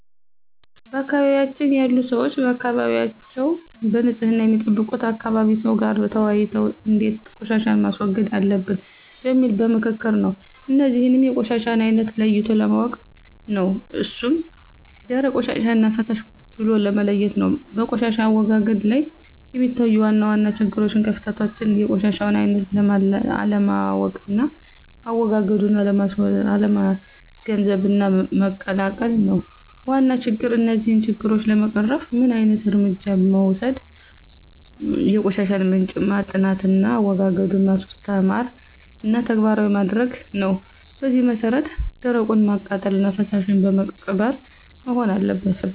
በአካባቢያችን ያሉ ሰዎች አካባቢያቸዉን በንፅህና የሚጠብቁት ከአካባቢ ሰው ጋር ተወያይተው እንዴት ቆሻሻን ማስወገድ አለበት በሚል በምክክር ነው። እነዚህንም የቆሻሻውን አይነት ለይቶ ማወቅ ነው እሱም ደረቅ ቆሻሻና ፈሳሽ ብሎ መለየት ነው። በቆሻሻ አወጋገድ ላይ የሚታዩ ዋና ዋና ችግሮችና ክፍተቶች የቆሻሻውን አይነት አለማወቅና አዎጋገዱን አለመገንዘብና መቀላቀል ነው ዋና ችግር። እነዚህን ችግሮች ለመቅረፍ ምን ዓይነት እርምጃ መወሰድ የቆሻሻውን ምንጭ ማጥናትና አዎጋገዱን ማስተማርና ተግባራዊ ማድረግ ነው በዚህ መሰረት ደረቁን በማቃጠልና ፈሳሹን በመቅበር መሆን አለበት።